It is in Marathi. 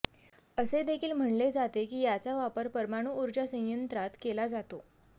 असे देखील म्हणले जाते की याचा वापर परमाणु ऊर्जा संयंत्रात केला जातो